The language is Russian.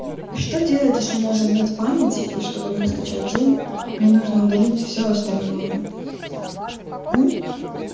а что делать если у меня уже нет памяти и чтобы мне скачать зум мне нужно удалить всё остальное у